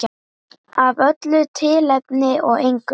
Af öllu tilefni og engu.